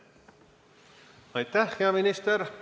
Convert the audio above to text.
Aitäh, hea minister!